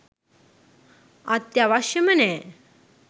අත්‍යවශ්‍යම නෑ.